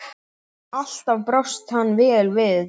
Alltaf brást hann vel við.